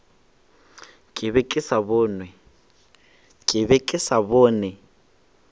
ke be ke sa bone